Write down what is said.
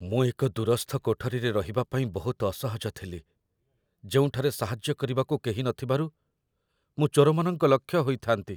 ମୁଁ ଏକ ଦୂରସ୍ଥ କୋଠରୀରେ ରହିବା ପାଇଁ ବହୁତ ଅସହଜ ଥିଲି, ଯେଉଁଠାରେ ସାହାଯ୍ୟ କରିବାକୁ କେହି ନଥିବାରୁ ମୁଁ ଚୋରମାନଙ୍କ ଲକ୍ଷ୍ୟ ହୋଇଥାନ୍ତି